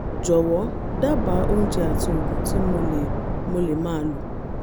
jọ̀wọ́ dábàá oúnjẹ àti oògùn tí mo lè mo lè máa lò